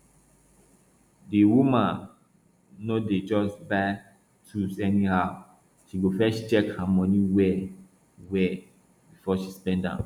the woman no dey just buy tool anyhow she go first check her money well well before she spend am